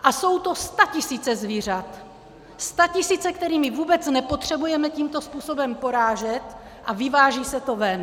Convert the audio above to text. A jsou to statisíce zvířat, statisíce, která vůbec nepotřebujeme tímto způsobem porážet, a vyváží se to ven.